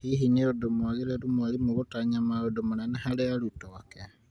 Hihi nĩ ũndũ mwagĩrĩru mwarimũ gũtanya maũndũ manene harĩ arutwo ake ?